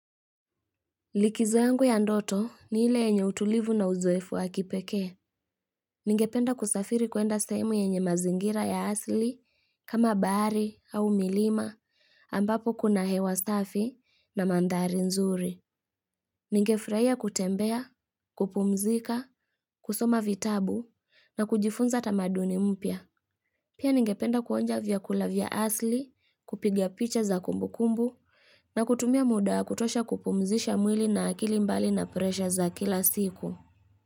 Likizo yangu ya ndoto ni ile enye utulivu na uzoefu wa kipekee. Ningependa kusafiri kuenda sehemu yenye mazingira ya asili, kama bahari, au milima, ambapo kuna hewa safi na mandhari nzuri. Ninge furahia kutembea, kupumzika, kusoma vitabu, na kujifunza tamaduni mpya. Pia ningependa kuonja vyakula vya asili, kupigia picha za kumbu kumbu, na kutumia muda kutosha kupumzisha mwili na akili mbali na presha za kila siku.